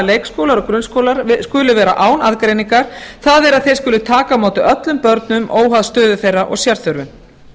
leikskólar og grunnskólar skuli vera án aðgreiningar það er að þeir skuli taka á móti öllum börnum óháð stöðu þeirra og sérþörfum